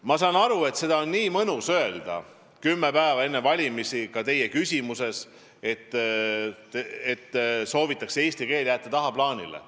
Ma saan aru, et väga mõnus on öelda kümme päeva enne valimisi – nii teie küsimuses oli –, et soovitakse eesti keel jätta tagaplaanile.